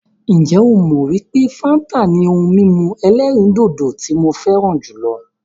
Ǹjẹ́ ó mọ wípé fáńtà ni ohun mímu ẹ̀lẹ́rìndodò tí mo fẹràn jùlọ?